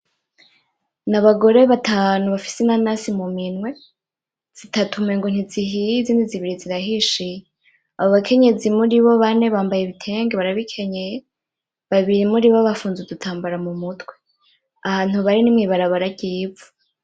N'abagore batanu bafise inanasi mu minwe, zitatu umengo ntizihiye izindi zibiri zirahishiye. Abo bakenyezi muribo bane bambaye ibitenge barabikenyeye, babiri muribo bafunze udutambara mu mutwe. Ahantu bari ni mwibarabara ry'ivu.